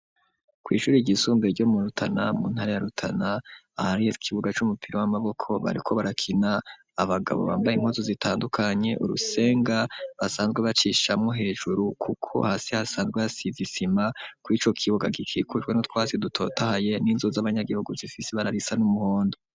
Kw'ishuri ryisumbe ryo murutana mu ntara yarutana aho ariho ikibuga c'umupira w'amaboko bariko barakina abagabo bambaye inkozu zitandukanye urusenga basanzwe bacishamwo hejuru, kuko hasi hasanzwe hasizisima ko ico kibuga gikikujwe no twasi dutotahaye n'inzo z'abanyagihugu zifise bararisa n'umuhondo.